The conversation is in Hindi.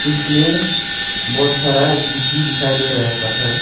इसमें बहोत सारा गिट्टी दिखाई दे रहा है पत्थर--